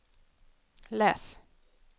läs